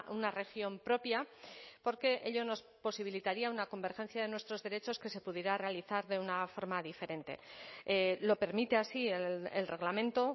una región propia porque ello nos posibilitaría una convergencia de nuestros derechos que se pudiera realizar de una forma diferente lo permite así el reglamento